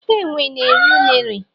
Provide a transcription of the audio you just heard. enwe na eri unere.